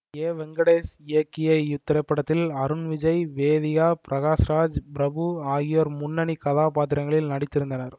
ஏ வெங்கடேஷ் இயக்கிய இத்திரைப்படத்தில் அருண் விஜய் வேதிகா பிரகாஷ் ராஜ் பிரபு ஆகியோர் முன்னணி கதாபாத்திரங்களில் நடித்திருந்தனர்